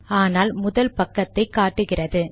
ஆனால் முதல் பக்கத்தை காட்டுகிறது